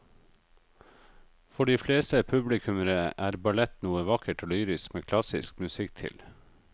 For de fleste publikummere er ballett noe vakkert og lyrisk med klassisk musikk til.